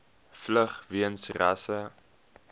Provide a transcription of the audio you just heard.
vlug weens rasse